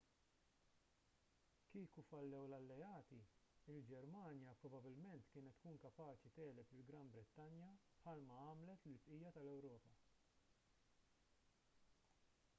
kieku fallew l-alleati il-ġermanja probabbilment kienet tkun kapaċi tegħleb lill-gran brittanja bħal ma għamlet lill-bqija tal-ewropa